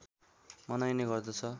मनाइने गर्दछ